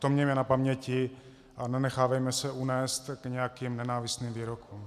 To mějme na paměti a nenechávejme se unést k nějakým nenávistným výrokům.